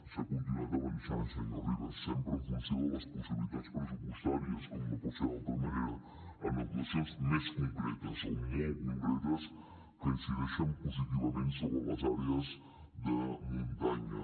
s’ha continuat avançant senyor rivas sempre en funció de les possibilitats pressupostàries com no pot ser d’altra manera en actuacions més concretes o molt concretes que incideixen positivament sobre les àrees de muntanya